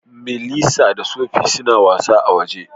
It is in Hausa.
Melissa da Sophie suna wasa a'woje.